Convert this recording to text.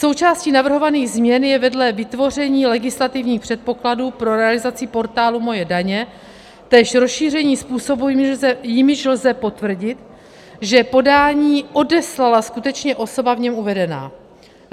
Součástí navrhovaných změn je vedle vytvoření legislativních předpokladů pro realizaci portálu MOJE daně též rozšíření způsobů, jimiž lze potvrdit, že podání odeslala skutečně osoba v něm uvedená.